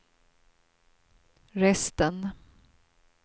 resten